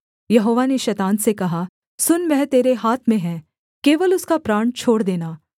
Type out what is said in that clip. यहोवा ने शैतान से कहा सुन वह तेरे हाथ में है केवल उसका प्राण छोड़ देना